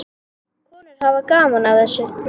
Konur hafa gaman af þessu.